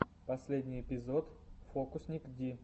последний эпизод фокусникди